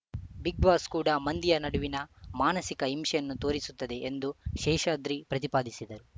big Boss ಕೂಡ ಮಂದಿಯ ನಡುವಿನ ಮಾನಸಿಕ ಹಿಂಸೆಯನ್ನು ತೋರಿಸುತ್ತಿದೆ ಎಂದು ಶೇಷಾದ್ರಿ ಪ್ರತಿಪಾದಿಸಿದರು